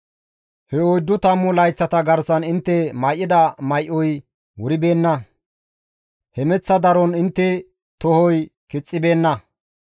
He oyddu tammu layththata garsan intte may7ida may7oy wuribeenna; hemeththa daron intte tohoy kixxibeenna.